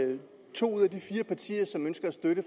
to ud af de fire partier som ønsker at støtte